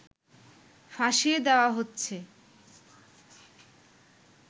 ফাঁসিয়ে দেয়া হচ্ছে